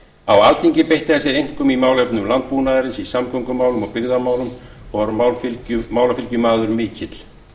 á alþingi beitti hann sér einkum í málefnum landbúnaðarins í samgöngumálum og byggðamálum og var málafylgjumaður mikill